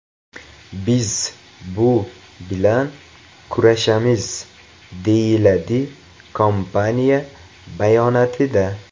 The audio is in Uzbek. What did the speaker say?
Biz bu bilan kurashamiz”, deyiladi kompaniya bayonotida.